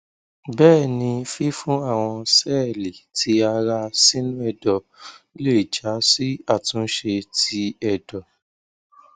bẹẹni fifun awọn sẹẹli ti ara sinu ẹdọ le ja si atunse ti ẹdọ